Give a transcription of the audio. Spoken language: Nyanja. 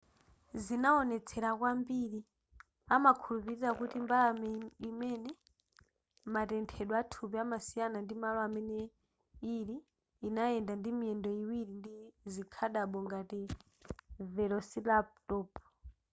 zinawonetsera kwambiri amakhulupilira kuti mbalame imene matenthedwe athupi amasiyana ndi malo amene ili inayenda ndimiyendo iwiri ndi zikhadabo ngati velociraptor